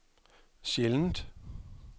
sjældent